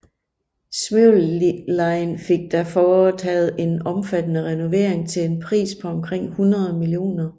Smyril Line fik der foretaget en omfattende renovering til en pris på omkring 100 mio